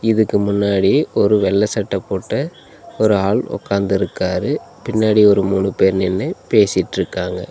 இதுக்கு முன்னாடி ஒரு வெள்ள சட்ட போட்ட ஒரு ஆள் ஒக்காந்திருக்காரு பின்னாடி ஒரு மூணு பேர் நின்னு பேசிட்ருக்காங்க.